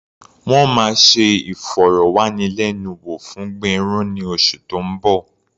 Wọ́n máa ṣe ìfọ̀rọ̀wánilẹ́nuwò fún Gbénró ní oṣù tó ń bọ̀.